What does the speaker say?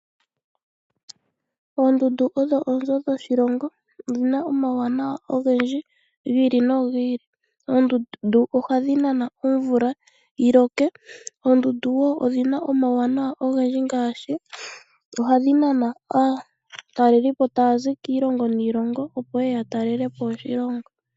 Oondundu odho oonzo dhoshilongo, odhina omawunawa ogendji giili. Oondundu ohadhinana omvula yiloke, odhina omawunawa ogendji ngaashi ohadhinana aatalelipo tayazi kiilongo niilongo opo yeye yatalelepo oshilongo.